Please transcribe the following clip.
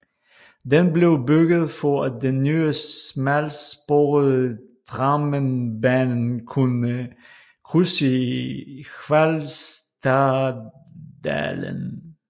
Den blev bygget for at den nye smalsporede Drammenbanen kunne krydse Hvalstaddalen